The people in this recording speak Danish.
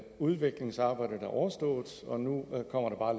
udviklingsarbejdet er overstået og nu kommer